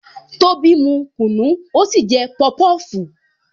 Tobi mu kunu, ó sì jẹ pọpọfu